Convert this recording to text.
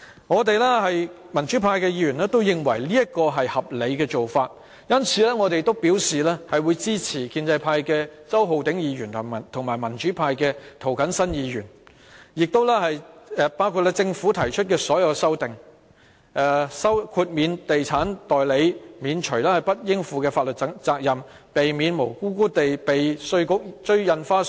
我們民主派議員都認為這是合理的做法，因此表示會支持由建制派周浩鼎議員、民主派涂謹申議員和政府提出的所有修正案，包括豁免地產代理免除不應負的法律責任，以避免無辜被稅務局追收印花稅。